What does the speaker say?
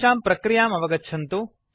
तेषां प्रक्रियां अवगच्छन्तु